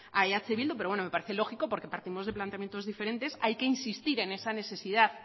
a eh bildu pero bueno me parece lógico porque partimosde planteamientos diferentes hay que insistir en esa necesidad